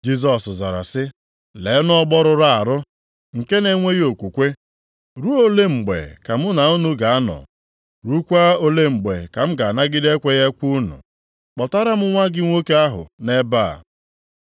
Jisọs zara sị, “Leenụ ọgbọ rụrụ arụ, nke na-enweghị okwukwe! Ruo olee mgbe ka mụ na unu ga-anọ, ruokwa olee mgbe ka m ga-anagide ekweghị ekwe unu? Kpọtara m nwa gị nwoke ahụ nʼebe a!”